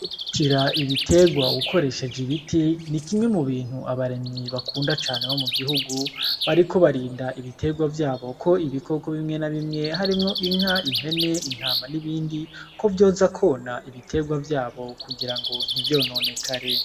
Kira ibiterwa ukoresheje ibiti ni kimwe mu bintu abarimyi bakunda cane bo mu gihugu bariko barinda ibiterwa vyabo ko ibikoko bimwe na bimwe harimwo inka, impene, intama, n'ibindi ko vyoza kona ibiterwa vyabo kugira ngo ntivyononekare.